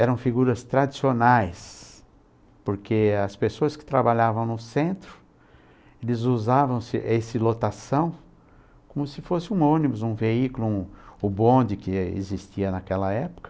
Eram figuras tradicionais, porque as pessoas que trabalhavam no centro eles usavam esse essa lotação como se fosse um ônibus, um veículo, um bonde que existia naquela época.